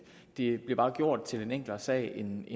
det bliver bare gjort til en enklere sag end